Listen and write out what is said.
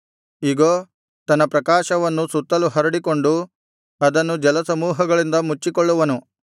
ಇಗೋ ತನ್ನ ಪ್ರಕಾಶವನ್ನು ಸುತ್ತಲು ಹರಡಿಕೊಂಡು ಅದನ್ನು ಜಲಸಮೂಹಗಳಿಂದ ಮುಚ್ಚಿಕೊಳ್ಳುವನು